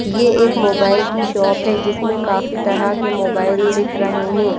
ये एक मोबाइल की शॉप है जिसमें काफी तरह के मोबाइल दिख रहे है।